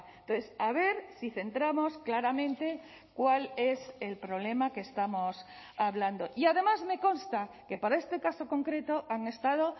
entonces a ver si centramos claramente cuál es el problema que estamos hablando y además me consta que para este caso concreto han estado